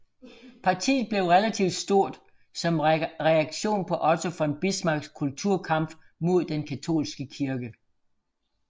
Partiet blev relativt stort som reaktion på Otto von Bismarcks Kulturkampf mod den katolske kirke